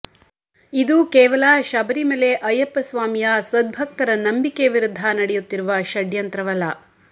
ಇದು ಕೇವಲ ಶಬರಿಮಲೆ ಅಯ್ಯಪ್ಪ ಸ್ವಾಮಿಯ ಸದ್ಭಕ್ತರ ನಂಬಿಕೆ ವಿರುದ್ಧ ನಡೆಯುತ್ತಿರುವ ಷಡ್ಯಂತ್ರವಲ್ಲ